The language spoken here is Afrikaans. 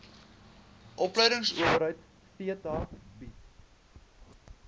opleidingsowerheid theta bied